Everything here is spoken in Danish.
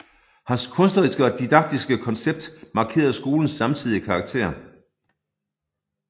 Hans kunstneriske og didaktiske koncept markerede skolens samtidige karakter